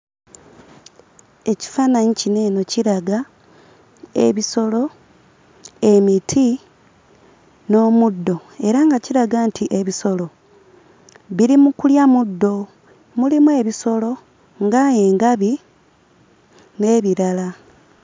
Ekifaananyi kino eno kiraga ebisolo, emiti, n'omuddo era nga kiraga nti ebisolo biri mu kulya muddo mulimu ebisolo nga engabi n'ebirala.